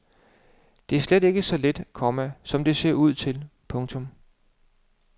Det er slet ikke så let, komma som det ser ud til. punktum